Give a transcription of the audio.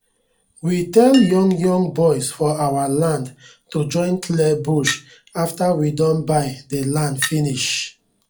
we tell young young boys for our land to join clear bush afta we don buy dey land finis